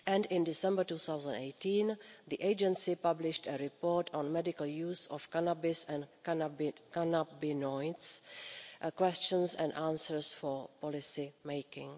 In December 2018, the agency published a report on medical use of cannabis and cannabinoids, as well as questions and answers for policy making.